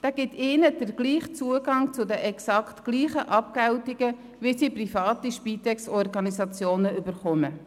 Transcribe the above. Dieser gibt ihnen den gleichen Zugang zu den exakt gleichen Abgeltungen, wie sie private Spitex-Organisationen erhalten.